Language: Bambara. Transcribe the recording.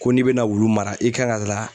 Ko n'i bɛna wulu mara i kan ka